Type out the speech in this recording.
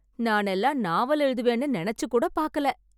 நானெல்லாம் நாவல் எழுதுவேன்னு நெனச்சுக் கூடப் பார்க்கல.